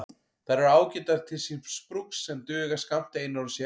Þær eru ágætar til síns brúks en duga skammt einar og sér.